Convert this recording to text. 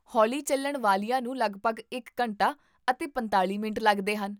ਹੌਲੀ ਚੱਲਣ ਵਾਲੀਆਂ ਨੂੰ ਲਗਭਗ ਇੱਕ ਘੰਟਾ ਅਤੇ ਪੰਤਾਲ਼ੀ ਮਿੰਟ ਲੱਗਦੇ ਹਨ